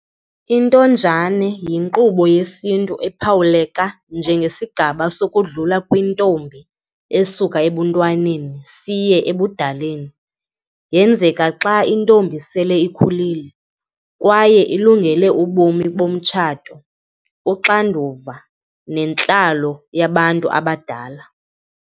Intonjane yinkqubo yesintu esiphawuleka njengesigaba sokudlula kwentombi esuka ebuntwaneni siye ebudaleni. Yenzeka xa intombi sele ikhulile kwaye ilungele ubomi bomtshato, uxanduva nentlalo yabantu abadala.